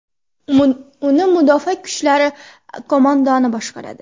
Uni Mudofaa kuchlari qo‘mondoni boshqaradi.